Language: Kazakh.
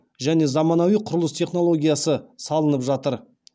және заманауи құрылыс технологиясы салынып жатыр